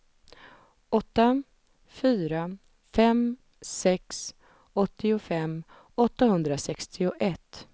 åtta fyra fem sex åttiofem åttahundrasextioett